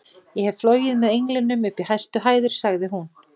Ég hef flogið með englinum upp í hæstu hæðir sagði hún.